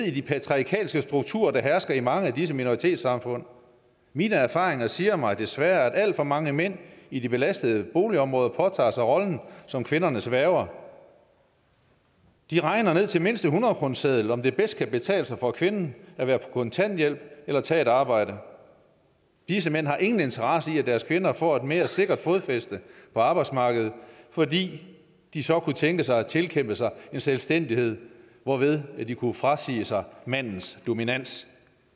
i de patriarkalske strukturer der hersker i mange af disse minoritetssamfund mine erfaringer siger mig desværre at alt for mange mænd i de belastede boligområder påtager sig rollen som kvindernes værger de regner ned til mindste hundrede kroneseddel om det bedst kan betale sig for kvinden at være på kontanthjælp eller tage et arbejde disse mænd har ingen interesse i at deres kvinder får et mere sikkert fodfæste på arbejdsmarkedet fordi de så kunne tænkes at tilkæmpe sig en selvstændighed hvorved de kunne frasige sig mandens dominans